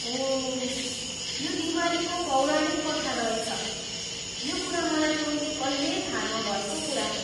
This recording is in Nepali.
ओह, यो दिवालीको पौराणिक कथा रहेछ। यो कुरा मलाई पहिले कहिल्यै थाहा नभएको कुरा हो।